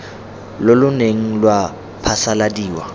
lo lo neng lwa phasaladiwa